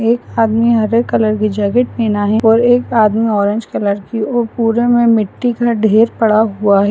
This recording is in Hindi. एक आदमी हरे कलर की जैकेट पहना है और एक आदमी ऑरेंज कलर की और पूरे मे मिट्ठी का ढेर पड़ा हुआ है।